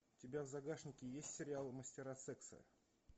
у тебя в загашнике есть сериал мастера секса